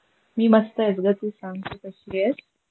मी मस्त आहे गं. तु सांग तु कशी आहेस?